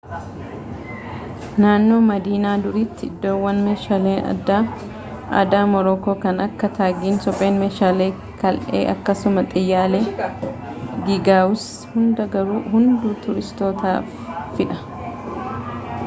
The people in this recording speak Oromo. naannowaa madiinaa duriitti iddoowwan meeshaaleen aadaa moorookoo kan akka taagiin supheen meeshaalee kal'ee akkasuma xiyyaalee giigawus hundaa garuu hunduu turistootaafidha